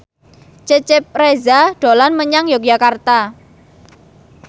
Cecep Reza dolan menyang Yogyakarta